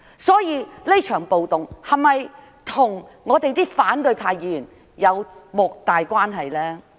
所以，這場暴動是否與反對派議員有莫大關係？